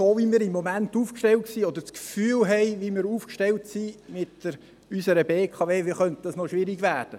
So, wie wir im Moment aufgestellt sind oder das Gefühl haben, wie wir mit unserer BKW aufgestellt sind, könnte das noch schwierig werden.